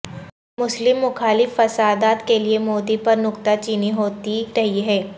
مسلم مخالف فسادات کے لیے مودی پر نکتہ چینی ہوتی رہی ہے